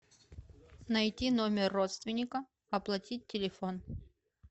найти номер родственника оплатить телефон